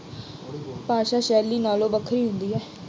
ਭਾਸ਼ਾ ਸ਼ੈਲੀ ਨਾਲੋਂ ਵੱਖਰੀ ਹੁੰਦੀ ਹੈ।